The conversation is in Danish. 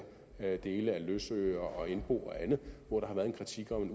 hjælpe i af løsøre og indbo og andet hvor der har været en kritik om